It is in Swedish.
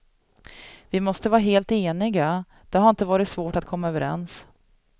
Vi måste vara helt eniga, det har inte varit svårt att komma överens.